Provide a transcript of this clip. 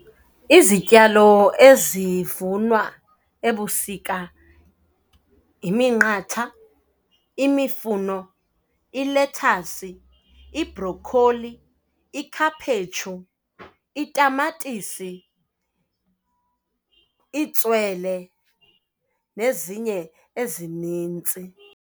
Izityalo ezivunwa ebusika yiminqatha, imifuno, ilethasi, ibrokholi, ikhaphetshu, itamatisi, itswele nezinye ezinintsi.